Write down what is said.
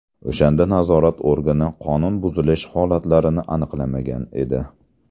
O‘shanda nazorat organi qonun buzilish holatlarini aniqlamagan edi.